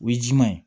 O ye jiman ye